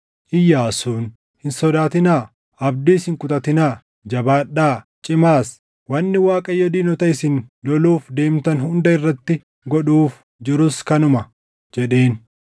Iyyaasuun, “Hin sodaatinaa; abdiis hin kutatinaa. Jabaadhaa; cimaas. Wanni Waaqayyo diinota isin loluuf deemtan hunda irratti godhuuf jirus kanuma” jedheen.